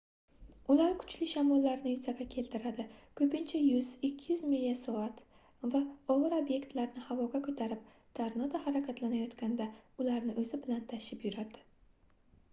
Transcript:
ular kuchli shamollarni yuzaga keltiradi ko'pincha 100–200 mil/soat va og'ir obyektlarni havoga ko'tarib tornado harakatlanayotganda ularni o'zi bilan tashib yuradi